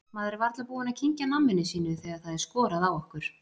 Maður er varla búinn að kyngja namminu sínu þegar það er skorað á okkur.